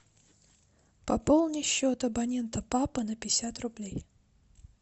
пополни счет абонента папа на пятьдесят рублей